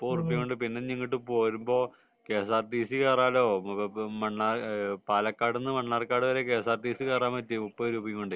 മുപ്പത് ഉറുപ്പിക കൊണ്ട് പിന്നെ ഇങ്ങോട് പോരുമ്പോ K S R T C കേറാല്ലോ പാലക്കാടുന്നു മണ്ണാർക്കാട് വരെ K S R T C കേറാൻ പറ്റി മുപ്പത് രൂപ കൊണ്ട്